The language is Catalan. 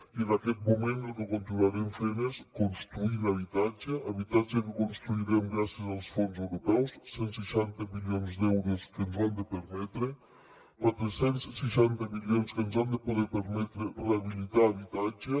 i en aquest moment el que continuarem fent és construir habitatge habitatge que construirem gràcies als fons europeus cent i seixanta milions d’euros que ens ho han de permetre quatre cents i seixanta milions que ens han de poder permetre rehabilitar habitatges